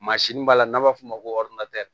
Mansin b'a la n'an b'a fɔ o ma ko